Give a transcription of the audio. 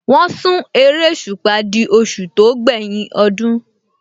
Wọ́n sún eréṣùpá di oṣù tó gbẹ́yìn ọdún